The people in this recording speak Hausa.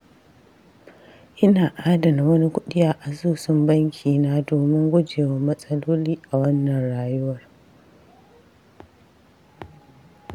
Ina adana wani kuɗi a asusun bankina domin guje wa matsaloli a wannan rayuwar.